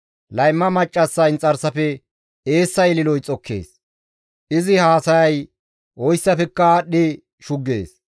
Layma maccassa inxarsafe eessa ililoy xokkees; izi haasayay oyssafekka aadhdhi shuggees.